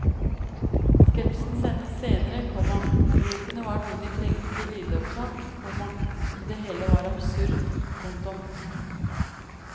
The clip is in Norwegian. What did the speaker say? Sketsjen sendes senere, komma ropene var noe de trengte til lydopptak, komma og det hele var absurd. punktum